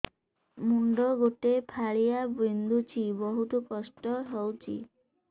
ମୁଣ୍ଡ ଗୋଟେ ଫାଳିଆ ବିନ୍ଧୁଚି ବହୁତ କଷ୍ଟ ହଉଚି